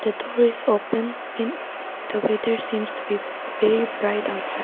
The door is open and the weather seems to be very bright outside.